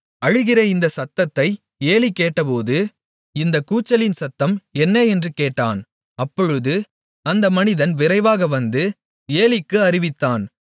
அழுகிற இந்தச் சத்தத்தை ஏலி கேட்டபோது இந்த கூச்சலின் சத்தம் என்ன என்று கேட்டான் அப்பொழுது அந்த மனிதன் விரைவாக வந்து ஏலிக்கு அறிவித்தான்